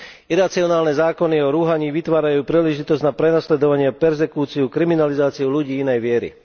Iracionálne zákony o rúhaní vytvárajú príležitosť na prenasledovanie, perzekúciu, kriminalizáciu ľudí inej viery.